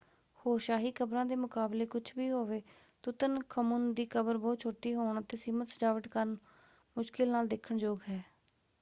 ਹੋਰ ਸ਼ਾਹੀ ਕਬਰਾਂ ਦੇ ਮੁਕਾਬਲੇ ਕੁਝ ਵੀ ਹੋਵੇ ਤੁਤਨਖਮੁਨ ਦੀ ਕਬਰ ਬਹੁਤ ਛੋਟੀ ਹੋਣ ਅਤੇ ਸੀਮਤ ਸਜਾਵਟ ਕਾਰਨ ਮੁਸ਼ਕਿਲ ਨਾਲ ਦੇਖਣਯੋਗ ਹੈ।